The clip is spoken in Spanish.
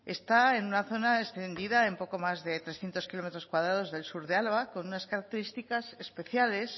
está en una zona extendida en poco más de trescientos kilómetros cuadrados del sur de álava con unas características especiales